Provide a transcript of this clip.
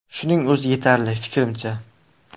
Shuning o‘zi yetarli, fikrimcha.